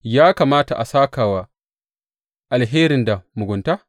Ya kamata a sāka wa alheri da mugunta?